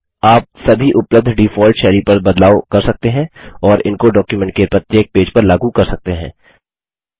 वैसे ही आप सभी उपलब्ध डिफॉल्ट शैली पर बदलाव कर सकते हैं और इनको डॉक्युमेंट के प्रत्येक पेज पर लागू कर सकते हैं